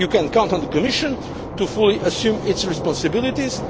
You can count on the Commission to fully assume its responsibilities.